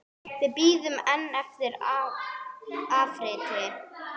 Við bíðum enn eftir afriti.